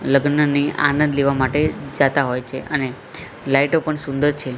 લગ્નની આનંદ લેવા માટે જાતા હોય છે અને લાઈટો પણ સુંદર છે.